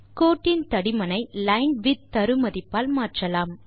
கோட்டின் தடிமனை லைன்விட்த் தரு மதிப்பு ஆல் மாற்றலாம்